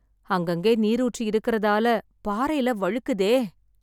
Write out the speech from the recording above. அங்கங்கே நீரூற்று இருக்கறதால, பாறைல வழுக்குதே..